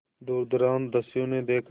दुर्दांत दस्यु ने देखा